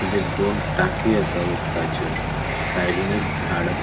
तिचेर दोन टाकीयो आसा उदकाच्यो सायडीन एक झाड असा.